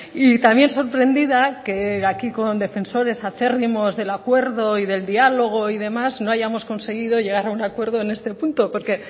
y también sorprendida que aquí con defensores acérrimos del acuerdo y del diálogo y demás no hayamos conseguido llegar a un acuerdo en este punto porque